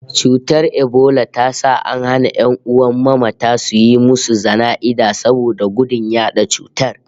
Cutar ebola ta sa an hana ƴan'uwan mamata suyi musu jana'iza saboda gudun yaɗa cutar